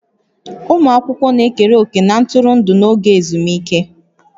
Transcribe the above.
Ụmụ akwụkwọ na-ekere òkè na ntụrụndụ n'oge ezumike